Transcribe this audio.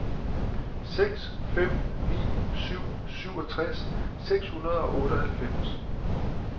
seks fem ni syv syvogtres seks hundrede og otteoghalvfems